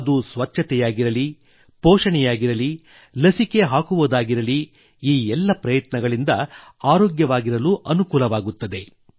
ಅದು ಸ್ವಚ್ಛತೆಯಾಗಿರಲಿ ಪೋಷಣೆಯಾಗಿರಲಿ ಲಸಿಕೆ ಹಾಕುವುದಾಗಿರಲಿ ಈ ಎಲ್ಲ ಪ್ರಯತ್ನಗಳಿಂದ ಆರೋಗ್ಯವಾಗಿರಲು ಅನುಕೂಲವಾಗುತ್ತದೆ